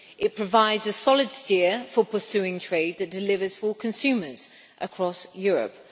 It provides a solid steer for pursuing trade that delivers for consumers across Europe.